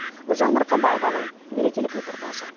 гүлжан марқабаеваның мерекелік репортажы